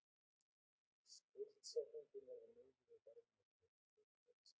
Skuldsetningin verði miðuð við verðmæti fyrirtækisins